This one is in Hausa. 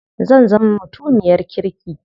Zan zama mutumiyar kirki.